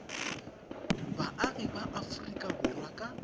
boagi ba aforika borwa ka